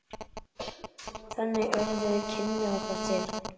Þannig urðu kynni okkar til.